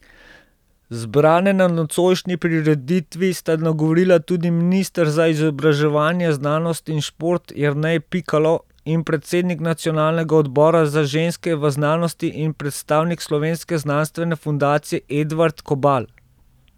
Zbrane na nocojšnji prireditvi sta nagovorila tudi minister za izobraževanje, znanost in šport Jernej Pikalo in predsednik Nacionalnega odbora Za ženske v znanosti in predstavnik Slovenske znanstvene fundacije Edvard Kobal.